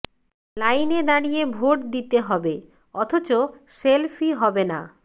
লাইনে দাঁড়িয়ে ভোট দিতে হবে অথচ সেলফি হবে না